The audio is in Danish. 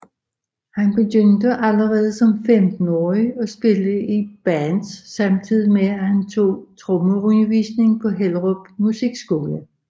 Han begyndte allerede som 15 årig at spille i bands samtidig med han tog trommeundervisning på Hellerup Musikskole